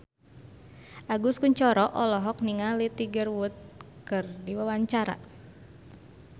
Agus Kuncoro olohok ningali Tiger Wood keur diwawancara